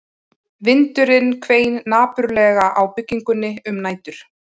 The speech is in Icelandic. Vindurinn hvein napurlega á byggingunni um nætur